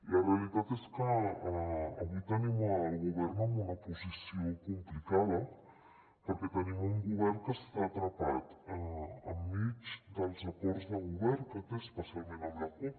la realitat és que avui tenim el govern en una posició complicada perquè te·nim un govern que està atrapat enmig dels acords de govern que té especialment amb la cup